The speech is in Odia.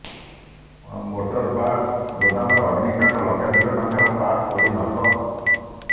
ମୋଟର ପାର୍ଟସ୍ ଗୋଦାମରେ ଅଗ୍ନିକାଣ୍ଡ ଲକ୍ଷାଧିକ ଟଙ୍କାର ପାର୍ଟସ୍ ପୋଡି ନଷ୍ଟ